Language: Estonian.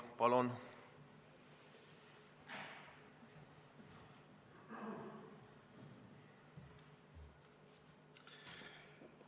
Palun!